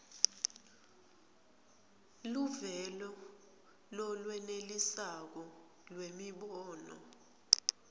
luvelo lolwenelisako lwemibono